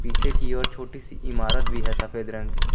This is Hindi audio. पीछे की ओर छोटी सी इमारत भी है सफेद रंग--